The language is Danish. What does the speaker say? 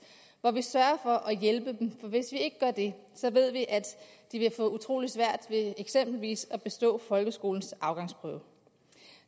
hvor vi sørger for at hjælpe dem for hvis vi ikke gør det ved vi at de vil få utrolig svært ved eksempelvis at bestå folkeskolens afgangsprøve